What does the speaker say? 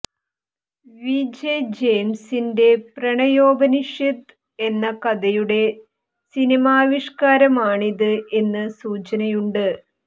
V J ജയിംസിന്റെ പ്രണയോപനിഷത് എന്ന കഥയുടെ സിനിമാവിഷ്കാരമാണിത് എന്ന് സൂചനയുണ്ട്